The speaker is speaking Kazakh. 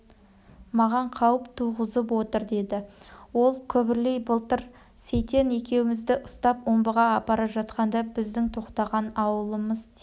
маған қауіп туғызып отыр деді ол күбірлей былтыр сейтен екеумізді ұстап омбыға апара жатқанда біздің тоқтаған ауылымыз тек